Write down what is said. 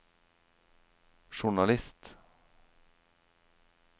journalist